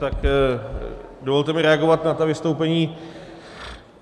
Tak dovolte mi reagovat na ta vystoupení.